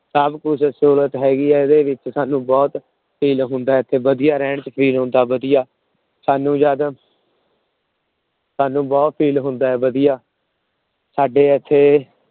ਸਭ ਕੁਛ ਸਹੂਲਤ ਹੈਗੀ ਹੈ ਇਹਦੇ ਵਿੱਚ, ਸਾਨੂੰ ਬਹੁਤ feel ਹੁੰਦਾ ਇੱਥੇ ਵਧੀਆ ਰਹਿਣ ਚ feel ਹੁੰਦਾ ਵਧੀਆ, ਸਾਨੂੰ ਜਦ ਸਾਨੂੰ ਬਹੁਤ feel ਹੁੰਦਾ ਹੈ ਵਧੀਆ, ਸਾਡੇ ਇੱਥੇ